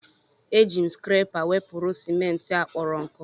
Eji m skrepa wepụrụ ciment a kporo nku.